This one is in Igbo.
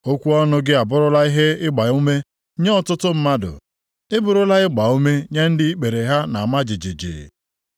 Okwu ọnụ gị abụrụla ihe ịgbaume nye ọtụtụ mmadụ, ị bụrụla ịgbaume nye ndị ikpere ha na-ama jijiji.